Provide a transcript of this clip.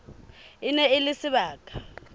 e ne e le sebaka